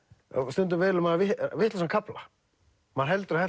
stundum velur maður vitlausan kafla maður heldur að